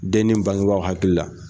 Denni bangebaaw hakili la